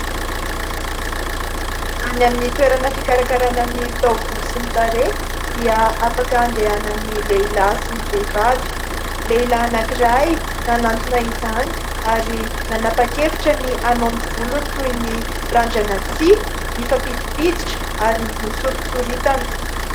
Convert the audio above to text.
Any amin'ny toerana fikarakarana ny taovolo sy ny tarehy dia afaka andehanan'ny lehilahy sy ny vehivavy. Lehilahy anankiray nanatona izany ary nanapak'hevitra ny hanao ny volony toy ny randrana tsihy mifampidipiditra ary nosorotsoritana.